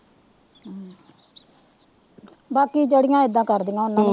ਬਾਕੀ ਜਿਹੜੀਆਂ ਏਦਾਂ ਕਰਦੀਆਂ ਓਹਨਾ